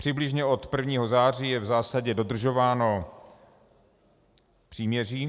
Přibližně od 1. září je v zásadě dodržováno příměří.